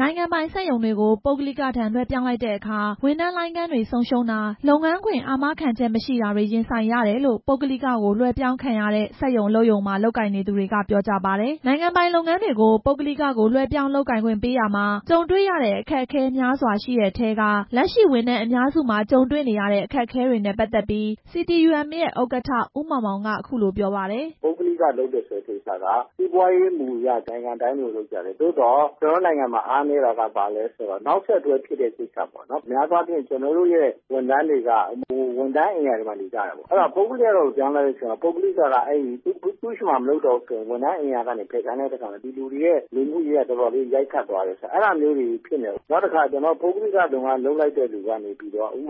နိုင်ငံပိုင် စက်ရုံတွေကို ပုဂ္ဂလိကထံ လွဲှပြောင်းလိုက်တဲ့အခါ ဝန်ထမ်းလိုင်းခန်းတွေ ဆုံးရှုံးတာ၊ လုပ်ငန်းခွင့် အာမခံချက်မရှိတာတွေ ရင်ဆိုင်ရတယ်လို့ ပုဂ္ဂလိကကို လွဲှပြောင်းခံရတဲ့ စက်ရုံအလုပ်ရုံမှာ လုပ်ကိုင်နေသူတွေက ပြောကြပါတယ်။ နိုင်ငံပိုင်လုပ်ငန်းတွေကို ပုဂ္ဂလိကကို လွှဲပြောင်းလုပ်ကိုင်ခွင့်ပေးရာမှာ ကြုံတွေ့ရတဲ့ အခက်အခဲ များစွာရှိတဲ့အထဲက လက်ရှိဝန်ထမ်း အများစုမှာ ကြုံတွေ့နေရတဲ့ အခက်တွေနဲ့ ပတ်သက်ပြီး CTUM ရဲ့ ဥက္ကဋ္ဌ ဦးမောင်မောင်က အခုလိုပြောပါတယ်။ "ပုဂ္ဂလိကလုပ်တယ်ဆိုတဲ့ ကိစ္စက စီးပွားရေးမှူအရ နိုင်ငံတိုင်းလိုလို လုပ်ကြတယ်၊ သို့သော် ကျနော်တို့နိုင်ငံမှာ အားနည်းတာက ဘာလဲဆိုတော့ နောက်ဆက်တွဲဖြစ်တဲ့ ကိစ္စပေါ့နော်၊ များသောအားဖြင့် ကျနော်တို့ရဲ့ ဝန်ထမ်းတွေက ဝန်ထမ်းအိမ်ယာတွေမှာ နေကြတယ်၊ အဲ့တော့ ပုဂ္ဂလိကကို ပြောင်းတဲ့အချိန်မှာ ပုဂ္ဂလိကက သူ့ဆီမှာ မလုပ်တော့ဘူးဆိုရင် ဝန်ထမ်းအိမ်ယာကနေ ဖယ်ခိုင်းလိုက်တဲ့အချိန်မှာ ဒီလူတွေရဲ့ နေဖို့အရေးက တော်တော်လေး ရိုက်ခတ်သွားတယ်၊ အဲ့ဒါမျိုးတွေဖြစ်နေတယ်၊ နောက်တစ်ခါ ပုဂ္ဂလိကလုပ်ငန်းလုပ်တဲ့သူက ဥပ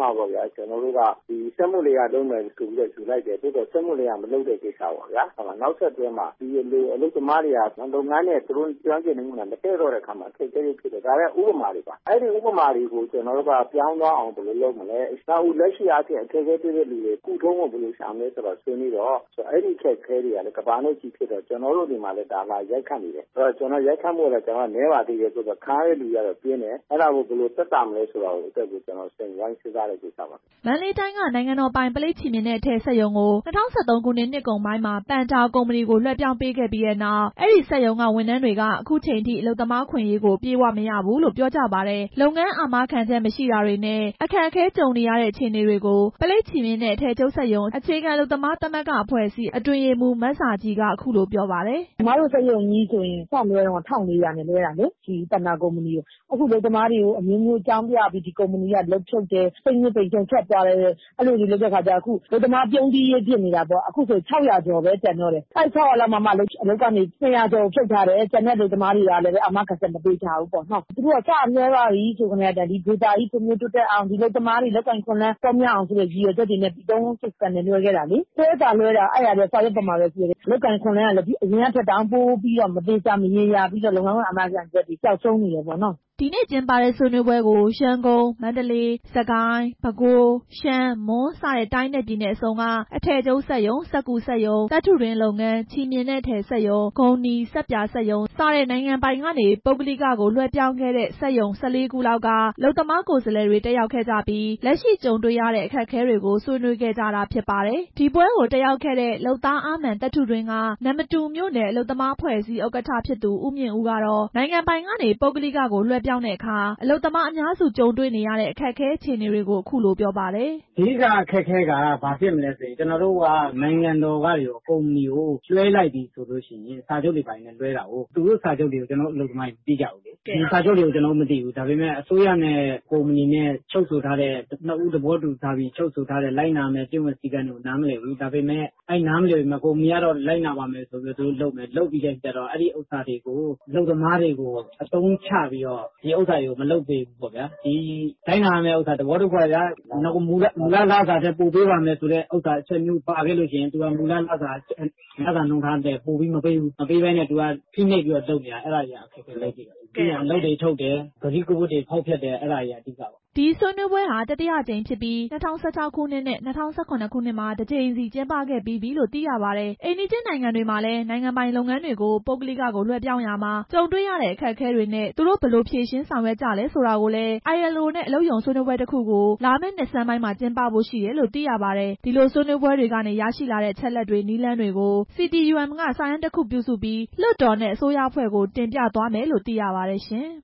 မာ စက်မှုလယ်ယာလုပ်မယ်ဆိုပြီး ယူလိုက်တယ်၊ သို့သော် စက်မှုလယ်ယာမလုပ်တဲ့ကိစ္စပေါ့၊ နောက်ဆက်တွဲ မှာ ဒီအလုပ်သမားတွေက ဒီလုပ်ငန်းနဲ့ သူတို့ ကျွမ်းကျင်မှုက မတည့်တော့တဲ့အခါမှာ အခက်အခဲတွေဖြစ်တယ်၊ ဒါတွေက ဥပမာတွေပါ၊ အဲဒီဥပမာတွေကို ပြောင်းသွားအောင် ဘယ်လိုလုပ်မလဲ လက်ရှိအားဖြင့် အခက်အခဲ တွေ့တဲ့သူတွေ ကုထုံးကို ဘယ်လိုရှာမလဲ ဆွေးနွေးတော့ အဲ့ဒီအခက်အခဲတွေ ကလည်း ကမ္ဘာနဲ့ချီပြီးဖြစ်တော့ ကျနော်တို့ဆီမှာလည်း အဲဒါက လာရိုက်ခတ်နေတယ်၊ ရိုက်ခတ်မှုက နည်းပေမယ့် ခံရတဲ့သူတွေက ပြင်းတယ်၊ အဲ့ဒါကို ဘယ်လိုသက်သာမလဲဆိုတဲ့ကိစ္စကို ဝိုင်းစဉ်းစားကြတာပါ" မန္တလေးတိုင်းက နိုင်ငံတော်ပိုင် ပလိပ်ချည်မျှင်နဲ့ အထည်စက်ရုံကို ၂၀၁၃ ခုနှစ် နှစ်ကုန်ပိုင်းမှာ ပန်ဒါ ကုမ္ပဏီကို လွဲှပြောင်းပေးခဲ့ပြီးနောက် အဲဒီစက်ရုံက ဝန်ထမ်းတွေက အခုချိန်ထိ အလုပ်သမား အခွင့်အရေး အပြည့်အဝမရဘူးလို့ အဲဒီစက်ရုံအလုပ်သမားတွေက ပြောပါတယ်။ လုပ်ငန်း အာမခံချက်မရှိတာတွေနဲ့ အခက်အခဲကြုံနေရတဲ့ အခြေအနေတွေကို ပလိပ်ချည်မျှင်နှင့် အထည်ချုပ်စက်ရုံ အခြေခံ အလုပ်သမားသမဂ္ဂအဖွဲ့အစည်း အတွင်းရေးမှူး မဇာခြည်က အခုလိုပြောပါတယ်။ "အမတို့ စက်ရုံကြီးဆိုရင် စလွှဲတုန်းက ၁၄၀၀ နဲ့ လွှဲတာလေ၊ ဒီပန်ဒါ ကုမ္ပဏီကို အခု အလုပ်သမားတွေကို အမျိုးမျိုးအကြောင်းပြပြီး အလုပ်ဖြုတ်တယ်၊ အခုဆို ၆၀၀ ကျော်ပဲ ကျန်တော့တယ်၊ အဲဒီ ၆၀၀ လောက်မှာမှ အလုပ်ကနေ ၂၀၀ ကျော်ကို ဖြုတ်ထားတယ်၊ ကျန်တဲ့ အလုပ်သမားတွေကိုလည်း အာမခံချက် မပေးထားဘူး၊ သူတို့က စလွှဲထားကတည်းက ဒီဒေသကြီး တိုးတက်အောင် ဒီအလုပ်သမားတွေ အလုပ်အကိုင်အခွင့်အလမ်း ပေါများအောင်ဆိုတဲ့ ရည်ရွယ်ချက်နဲ့ လွှဲခဲ့တာလေ၊ လွှဲသာလွှဲတာ အဲဒါတွေက စာရွက်ပေါ်မှာပဲ ရှိတာ၊ အလုပ်အကိုင် အခွင့်အလမ်းကလည်း အရင်ကထက်တောင် ပိုပြီးမသေချာမရေရာဘဲ လုပ်ငန်းခွင် အာမခံချက်တွေ ပျောက်ဆုံးနေတယ်" ဒီနေ့ ကျင်းပတဲ့ ဆွေးနွေးပွဲကို ရန်ကုန်၊ မန္တလေး ၊ စစ်ကိုင်း၊ ပဲခူး၊ ရှမ်း၊ မွန်၊ စတဲ့ တိုင်းနဲ့ ပြည်နယ်အစုံက အထည်ချုပ်စက်ရုံ၊ စက္ကူစက်ရုံ၊ သတ္တုတွင်းလုပ်ငန်း၊ ချည်မျှင်နဲ့ အထည်စက်ရုံ၊ ဂုန်နီ၊ ဆပ်ပြာ စက်ရုံ စတဲ့ နိုင်ငံပိုင်ကနေ ပုဂ္ဂလိကကို လွှဲပြောင်းခဲ့တဲ့ စက်ရုံ ၁၄ ခုလောက်က အလုပ်သမားကိုယ်စားလှယ် တက်ရောက်ကြပြီး လက်ရှိ ကြုံတွေ့ရတဲ့ အခက်အခဲတွေကို ဆွေးနွေးခဲ့ကြတာဖြစ်ပါတယ်။ ဒီပွဲကိုတက်ရောက်ခဲ့တဲ့ လုပ်သားအားမာန် သတ္တုတွင်းက နမ္မတူမြို့နယ် အလုပ်သမားအဖွဲ့အစည်း ဥက္ကဋ္ဌဖြစ်သူ ကိုမြင့်ဦးကတော့ နိုင်ငံပိုင်ကနေ ပုဂ္ဂလိက လွှဲပြောင်းတဲ့အခါ အလုပ်သမားအများစု ကြုံတွေ့နေရတဲ့ အခက်အခဲ အခြေအနေတွေကို အခုလိုပြောပါတယ်။ "အဓိက အခက်အခဲက ဘာဖြစ်မလဲဆိုရင် နိုင်ငံတော်က ကုမ္ပဏီကို လွှဲလိုက်ပြီဆိုရင် စာချုပ်တွေနဲ့ လွှဲတာကို သူတို့စာချုပ်တွေကို ကျနော်တို့ အလုပ်သမားတွေ မသိကြဘူး၊ အစိုးရနဲ့ ကုမ္ပဏီနဲ့ချုပ်ဆိုထားတဲ့ လိုက်နာရမယ့် ကျင့်ဝတ် စည်းကမ်းတွေကို ကုမ္ပဏီက လိုက်နာပါမယ်လို့လုပ်မယ်၊ လုပ်ပြီးရင် အဲ့ဒါတွေကို အလုပ်သမားတွေကို အသုံးချပြီးတော့ ဒီဥစ္စာတွေကို မလုပ်ပေးဘူးပေါ့ဗျာ၊ သဘောတစ်ခုကဗျာ မူလ လစာထက် ပိုပေးပါမယ်လို့ အချက်မျိုး ပါခဲ့လို့ရှိရင် သူတို့က မူလလစာနှုန်းထားထက် ပိုမပေးဘူး၊ မပေးဘဲနဲ့ သူက ဖိနှိပ်ပြီးတော့ လုပ်နေတာ၊ အဲဒါတွေက အခက်အခဲပဲ လက်ရှိတော့။ ပြီးတော့ အလုပ်တွေ ထုတ်တယ်၊ ကတိကဝတ်တွေ ဖောက်ဖျက်တယ် အဲ့ဒါတွေက အဓိကပဲ" ဒီဆွေးနွေးပွဲဟာ တတိယအကြိမ်ဖြစ်ပြီး ၂၀၁၆ ခုနှစ်နဲ့ ၂၀၁၇ ခုနှစ်မှာ တစ်ကြိမ်စီ ကျင်းပခဲ့ပြီးပြီလို့သိရပါတယ်။ အိမ်နီးချင်းနိုင်ငံတွေမှာလည်း နိုင်ငံပိုင် လုပ်ငန်းတွေကို ပုဂ္ဂလိက လွဲပြောင်းရာမှာ ကြုံတွေရတဲ့ အခက်အခဲတွေနဲ့ သူတို့ ဘယ်လိုဖြေရှင်းဆောင်ရွက်ကြလဲ ဆိုတာကိုလည်း ILO နဲ့ အလုပ်ရုံဆွေးနွေးပွဲတစ်ခုကို လာမယ့်နှစ်ဆန်းပိုင်းမှာ ကျင်းပဖို့ရှိတယ်လို့ သိရပါတယ်။ ဒီလိုဆွေးနွေးပွဲတွေကနေ ရရှိလာတဲ့ အချက်အလက်တွေ နည်းလမ်းတွေကို CTUM က စာတမ်းတစ်ခု ပြုစုပြီး လွှတ်တော်နဲ့ အစိုးရအဖွဲ့ကို တင်ပြသွားမယ်လို့ သိရပါတယ်ရှင်။